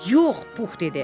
Yox, Pux dedi.